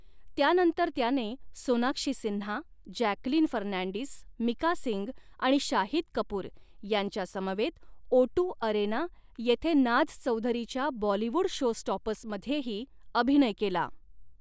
त्यानंतर त्याने सोनाक्षी सिन्हा, जॅकलीन फर्नांडिस, मिका सिंग आणि शाहिद कपूर ह्यांच्यासमवेत ओटू अरेना येथे नाझ चौधरीच्या बॉलीवूड शोस्टॉपर्समध्येही अभिनय केला.